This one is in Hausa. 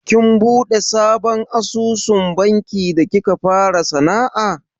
Kin buɗe sabon asusun banki da kika fara sana'a?